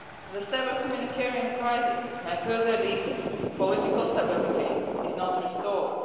The severe humanitarian crisis may further deepen if political stability is not restored.